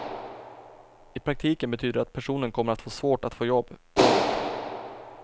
I praktiken betyder det att personen kommer att få svårt att få jobb. punkt